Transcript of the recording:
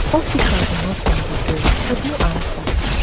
officers knock on di door but no answer